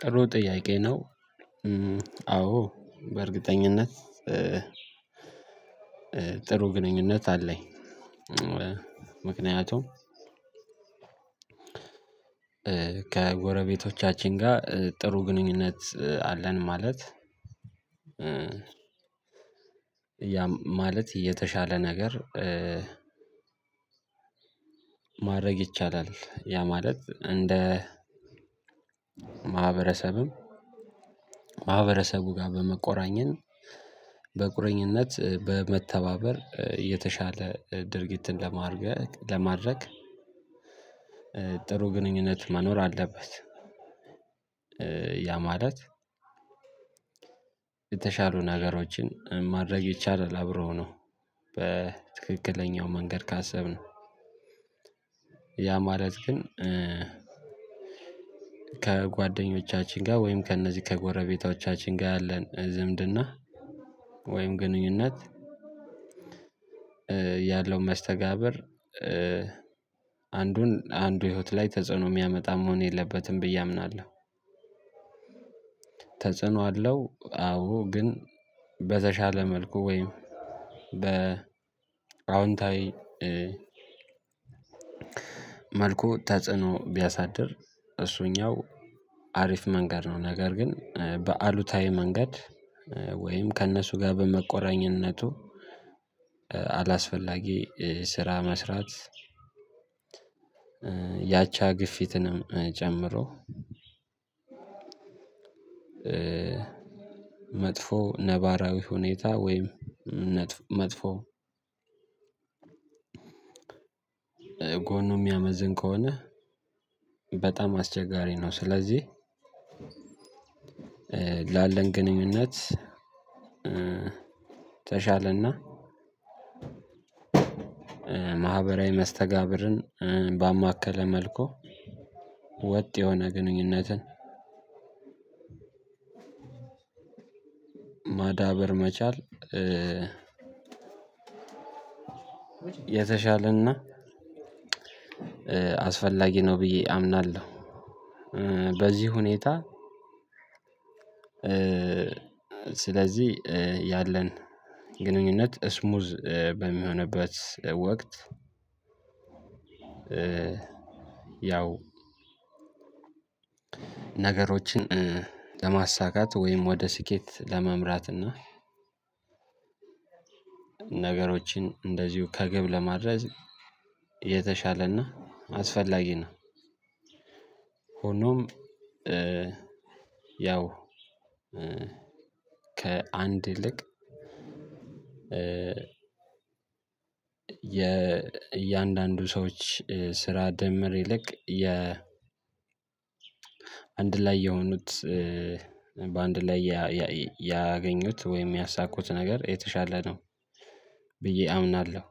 ጥሩ ጥያቄ ነው። አዎ በእርግጠኝነት። ጥሩ ግንኙነት አለኝ። ምክንያቱም ከጎረቤቶቻችን ጋር ጥሩ ግንኙነት አለን። ማለት ያ ማለት የተሻለ ነገር። ማድረግ ይቻላል ያ ማለት እንደ ማህበረሰብም ማህበረሰቡ ጋር በመቆራኘን በቁርኝነት በመተባበር የተሻለ ድርጊትን ለማድረግ ጥሩ ግንኙነት መኖር አለበት። ያ ማለት የተሻሉ ነገሮችን ማድረግ አይደለም አብረው ነው በትክክለኛው መንገድ ካሰብን። ያ ማለት ግን ከጓደኞቻችን ጋር ወይም ከእነዚህ ከጎረቤቶቻችን ጋር ያለን ዝምድና ወይም ግንኙነት ያለው መስተጋብር አንዱን አንዱ ህይወት ላይ ተጽዕኖ ሚያመጣ መሆን የለበትም ብዬ አምናለሁ። ተጽዕኖ አለው አዎ ግን በተሻለ መልኩ ወይም በ አዎንታዊ መልኩ ተጽዕኖ ቢያሳድር እሱኛው አሪፍ መንገድ ነው። ነገር ግን በአሉታዊ መንገድ ወይም ከእነሱ ጋር በመቆራኘነቱ አላስፈላጊ ስራ መስራት። ያቻ ግፊትንም ጨምሮ መጥፎ ነባራዊ ሁኔታ ወይም መጥፎ ጎኑ የሚያመዝን ከሆነ በጣም አስቸጋሪ ነው። ስለዚህ ላለን ግንኙነት ተሻለና ማህበራዊ መስተጋብርን ባማከለ መልኩ ወጥ የሆነ ግንኙነትን ማዳበር መቻል የተሻለና አስፈላጊ ነው። ብዬ አምናለሁ። በዚህ ሁኔታ ስለዚህ ያለን ግንኙነት ስሙዝ በሚሆንበት ወቅት ያው ነገሮችን ለማሳካት ወይም ወደ ስኬት ለመምራት እና ነገሮችን እንደዚሁ ከግብ ለማድረግ የተሻለና አስፈላጊ ነው። ሆኖም ያው ከአንድ ይልቅ የ እያንዳንዱ ሰዎች ስራ ደምር ይልቅ የ አንድ ላይ የሆኑት በአንድ ላይ ያገኙት ወይም ያሳኩት ነገር የተሻለ ነው ብዬ አምናለሁ።